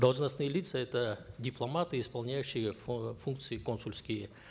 должностные лица это дипломаты исполняющие функции консульские